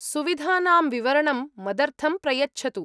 सुविधानां विवरणं मदर्थं प्रयच्छतु।